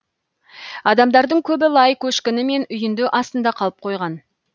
адамдардың көбі лай көшкіні мен үйінді астында қалып қойған